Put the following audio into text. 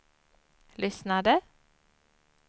lyssnade